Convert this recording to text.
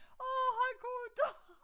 Åh han kunne inte